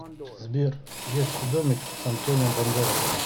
сбер детский домик с антонио бандерасом